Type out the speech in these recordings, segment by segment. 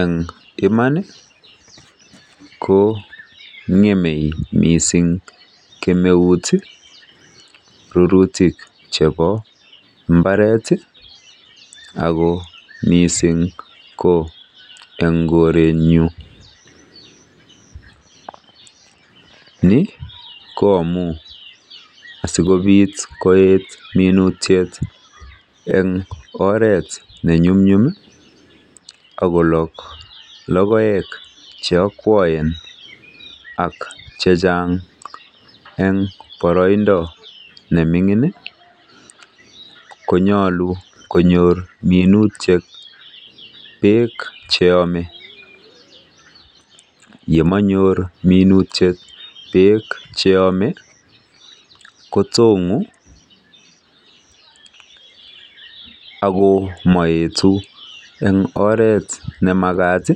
Eng iman ko ng'emei mising kemeuit rurutik chebo mbaret ako mising ko eng koren'yu. Ni ko amun sikobit koet minutiet eng oret nenyumnyum ak kolog logoek che akwoen ak chechang ako eng boroindo ne mining konyolu konyor minutiet beek cheyomei. Yemayor minutiet beek cheyomei kotong'u ako maetu eng oret nemakat,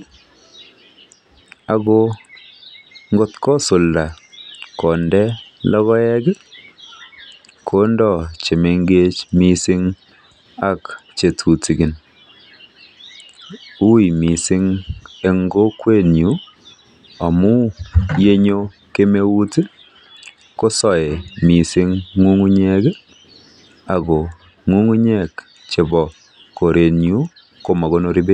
ako at kosulda konde logoek kondoi chemengech mising ak che tutikin. Ui mising eng kokwenyu, amun yenyu kemeut kosoei mising ng'ung'unyek ako ng'ung'nyek chebo korenyu koma konori beek.